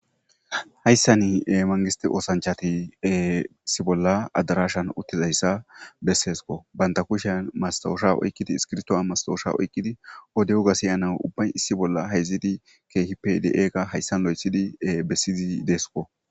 hayssan mangisti oosanchati issi bolla adarashan uttizayssa besseesko banta kushan masaosha oykkidi iskirtowa mastowosha oykkidi ode huga siyana ubbay issi bolla hayzidi keehi pe de7eeqa hayssan lo7ethidi bessiyzi deeskko